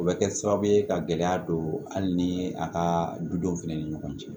O bɛ kɛ sababu ye ka gɛlɛya don hali ni a ka dudenw fɛnɛ ni ɲɔgɔn cɛ